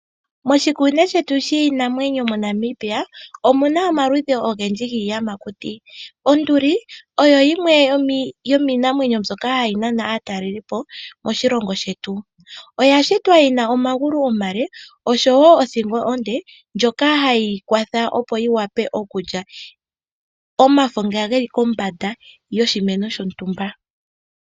Moshikunino shetu shiinamwenyo MoNamibia omu na omaludhi ogendji giiyamakuti. Onduli oyo yimwe yomiinamwenyo mbyoka hayi nana aatalelipo moshilongo shetu. Oya shitwa yi na omagulu omale nosho wo othingo onde ndjoka hayi kwatha opo yi wape okulya omafo nga geli kombanda yoshimeno shontumba.